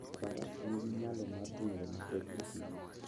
Faras nigi nyalo mar ringo matek e thim.